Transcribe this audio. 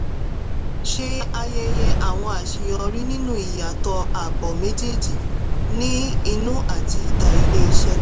ṣé ayẹyẹ àwọn àṣeyọrí nínú ìyàtọ̀ àbò méjèèjì ní inú àti ìta ilé-iṣẹ́.